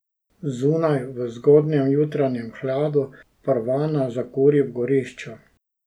Zunaj, v zgodnjem jutranjem hladu, Parvana zakuri v gorišču.